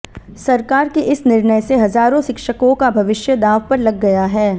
सरकार के इस निर्णय से हजारों शिक्षकों का भविष्य दांव पर लग गया है